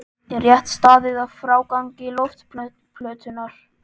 Er rétt staðið að frágangi loftplötunnar?